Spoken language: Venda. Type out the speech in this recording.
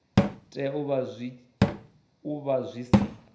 tea u vha zwi si